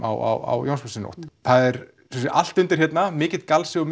á Jónsmessunótt það er allt undir hérna mikill galsi og